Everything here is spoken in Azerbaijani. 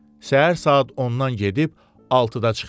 Səhər saat 10-dan gedib 6-da çıxırdı.